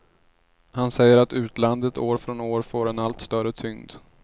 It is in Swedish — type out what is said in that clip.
Han säger att utlandet år från år får en allt större tyngd.